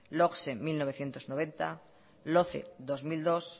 logse mil novecientos noventa loce dos mil dos